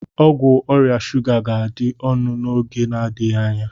Ọgwụ ọrịa shuga ga-adị ọnụ n'oge n'adịghị anya.